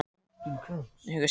Veslings mamma, hugsaði Emil.